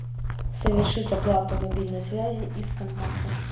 совершить оплату мобильной связи из контактов